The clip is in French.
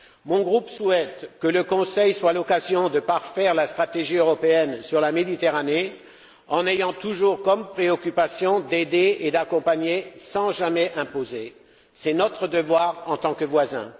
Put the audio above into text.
Mon groupe souhaite que le Conseil soit l'occasion de parfaire la stratégie européenne sur la Méditerranée, en ayant toujours comme préoccupation d'aider et d'accompagner sans jamais imposer. C'est notre devoir en tant que voisins.